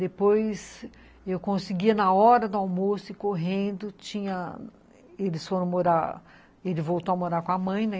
Depois, eu conseguia na hora do almoço ir correndo, tinha... Eles foram morar... Ele voltou a morar com a mãe, né?